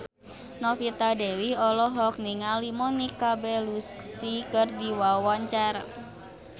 Novita Dewi olohok ningali Monica Belluci keur diwawancara